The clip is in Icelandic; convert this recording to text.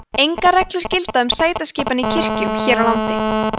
engar reglur gilda um sætaskipan í kirkjum hér á landi